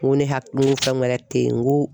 N ko ne ha n ko fɛn wɛrɛ te yen n ko